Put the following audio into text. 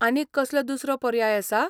आनीक कसलो दुसरो पर्याय आसा?